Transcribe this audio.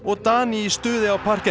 Dani í stuði á